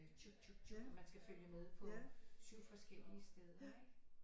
Man skal følge med på 7 forskellige steder ikke